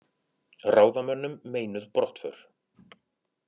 Ráðamönnum meinuð brottför